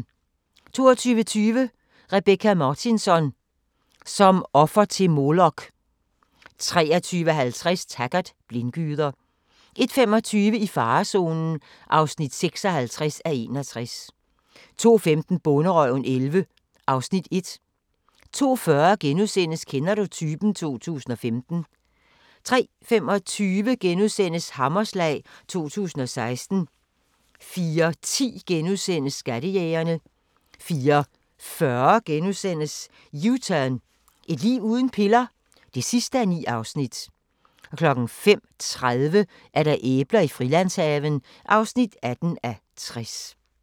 22:20: Rebecka Martinsson: Som offer til Molok 23:50: Taggart: Blindgyder 01:25: I farezonen (56:61) 02:15: Bonderøven 2011 (Afs. 1) 02:40: Kender du typen? 2015 (7:9)* 03:25: Hammerslag 2016 (Afs. 6)* 04:10: Skattejægerne * 04:40: U-turn – Et liv uden piller? (9:9)* 05:30: Æbler i Frilandshaven (18:60)